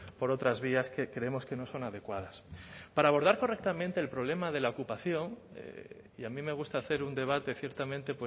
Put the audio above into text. por otras vías que creemos que no son adecuadas para abordar correctamente el problema de la ocupación y a mí me gusta hacer un debate ciertamente